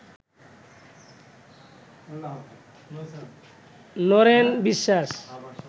Naren Biswas